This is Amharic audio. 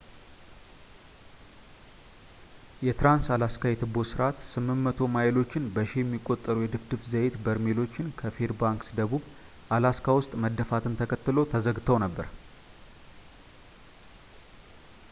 የትራንስ-አላስካ የትቦ ስርዓት 800 ማይሎች በሺ የሚቆጠሩ የድፍድፍ ዘይት በርሜሎች ከፌርባንክስ ደቡብ ፣ አላስካ ውስጥ መደፋትን ተከትሎ ተዘግተው ነበር